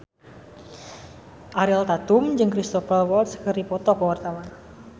Ariel Tatum jeung Cristhoper Waltz keur dipoto ku wartawan